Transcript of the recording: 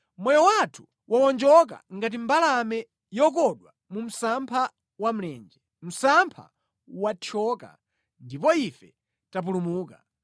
Moyo wathu wawonjoka ngati mbalame yokodwa mu msampha wa mlenje; msampha wathyoka, ndipo ife tapulumuka.